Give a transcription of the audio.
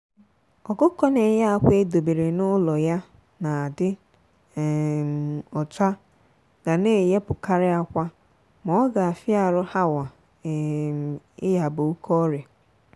ọkụkọ na-eye akwa e dobere na ụlọ ya na-adi um ọcha ga na eyepụkari akwa maoga afia arụ hawa um iyaba oke ọrịa.